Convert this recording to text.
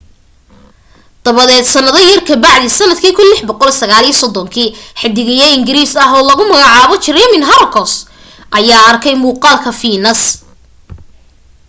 dabadeed sannado yar ka bacdii sannadkii 1639 xiddigiye ingiriis ah oo lagu magacaabo jeremiah horrocks ayaa arkay muuqaalka fiinas